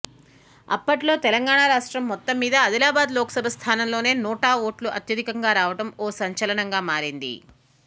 అప్పట్లో తెలంగాణ రాష్ట్రం మొత్తం మీద ఆదిలాబాద్ లోక్సభ స్థానంలోనే నోటా ఓట్లు అత్యధికంగా రావడం ఓ సంచలనంగా మారింది